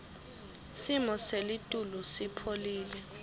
simo selitulu sipholile